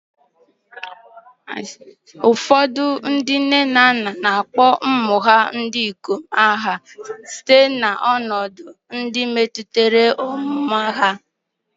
Ụfọdụ ndị nne na nna na-akpọ ụmụ ha ndị ikom aha site na ọnọdụ ndị metụtara ọmụmụ ha.